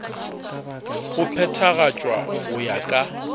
go phethagatšwa go ya ka